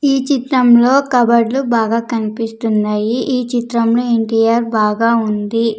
ఈ చిత్రంలో కబర్డ్లు బాగా కనిపిస్తున్నాయి ఈ చిత్రంలో ఎన్_టి_ఆర్ బాగా ఉంది.